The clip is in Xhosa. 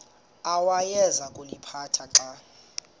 awayeza kuliphatha xa